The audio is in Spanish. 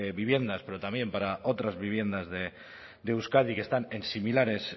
viviendas pero también para otras viviendas de euskadi que están en similares